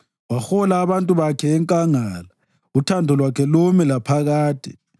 Wahola abantu bakhe enkangala, uthando lwakhe lumi laphakade.